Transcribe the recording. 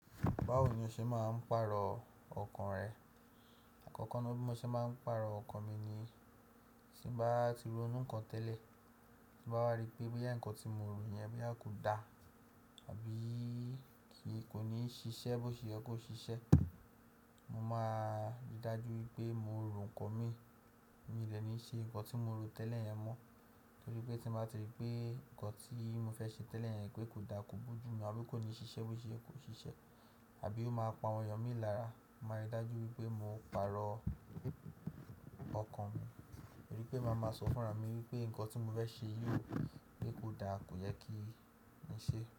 Báwo ni o ṣe máa ń pàrọ̀ ọkàn rẹ? Àkọ́kọ́ ni bí mo ṣe máa ń pàrọ̀ ọkàn mi ni tí bá ti ronú nǹkan tẹ́lẹ̀, tí bá wá rí pé bí yà nkán tí mo rò yẹn bí a kò da àbí kì í kò ní ṣiṣẹ́ bó ti ṣe ó kó ṣiṣẹ́, mo máa ríi dájú wípé mo rò nǹkan mi, mi lè ní ṣe nǹkan tí mo rò tẹ́lẹ̀ yẹn mọ́. Nítorí pé tí mo bá rí i pé nǹkan tí mo fẹ́ ṣe tẹ́lẹ̀ yẹn pé kò da, kò bú ojú mu àbí kò ní ṣiṣẹ́ bó ṣe ye kó ṣiṣẹ́ àbí ó máa pa àwọn èèyàn mi lára, màá ríi dájú wípé mo pàrọ̀ ọkàn mi, torí pé màá máa sọ fúnra mi wípé nǹkan tí mo fẹ́ ṣe yóò pé kò da kò yẹ kí n ṣe.